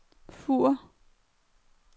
Fur